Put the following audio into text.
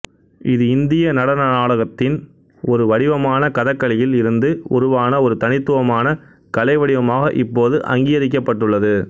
இது இந்திய நடனநாடகத்தின் ஒரு வடிவமான கதகளியில் இருந்து உருவான ஒரு தனித்துவமான கலை வடிவமாக இப்போது அங்கீகரிக்கப்பட்டுள்ளது